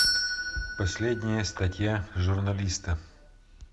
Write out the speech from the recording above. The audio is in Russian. последняя статья журналиста